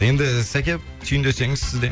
енді сәке түйіндесеңіз сіз де